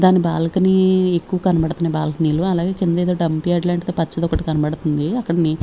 దాని బాల్కనీ ఎక్కువ కనబడుతున్నాయి బాల్కనీ లు అలాగే కింద ఏదో డంపుయార్డు అట్లాంటిది పచ్చది ఒకటి కనబడుతుంది అక్కడ ని--